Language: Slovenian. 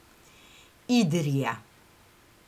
Idrija.